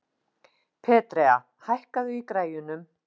Petrea, hækkaðu í græjunum.